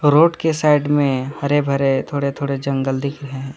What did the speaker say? Road के side में हरे भरे थोड़े थोड़े जंगल दिख रहे है।